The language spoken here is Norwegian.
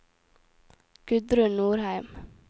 Gudrun Nordheim